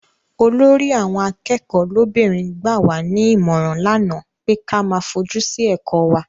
Olórí àwọn akẹ́kọ̀ọ́ lóbìnrin gbà wá ní ìmọ̀ràn lánàá pé ka fojú sí ẹ̀kọ́ wa.